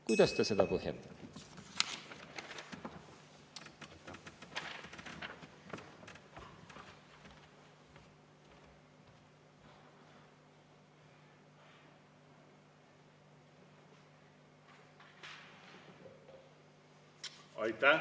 Kuidas ta seda põhjendab?